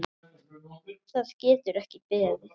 Það getur ekki beðið.